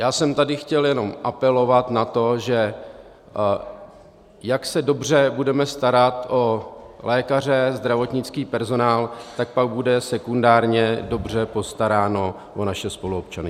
Já jsem tady chtěl jenom apelovat na to, že jak dobře se budeme starat o lékaře, zdravotnický personál, tak pak bude sekundárně dobře postaráno o naše spoluobčany.